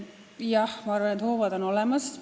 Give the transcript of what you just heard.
Jah, ma arvan, et hoovad on olemas.